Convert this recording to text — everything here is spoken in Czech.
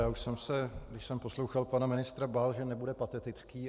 Já už jsem se, když jsem poslouchal pana ministra, bál, že nebude patetický.